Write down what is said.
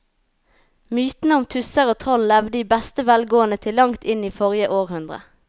Mytene om tusser og troll levde i beste velgående til langt inn i forrige århundre.